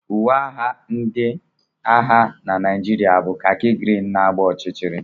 Uwe agha ndị agha na Naịjirịa bụ khaki green na agba ọchịchịrị.